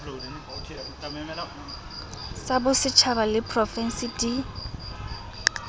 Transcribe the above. tsabosetjhaba le ysa profense di